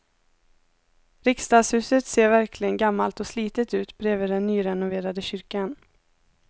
Riksdagshuset ser verkligen gammalt och slitet ut bredvid den nyrenoverade kyrkan.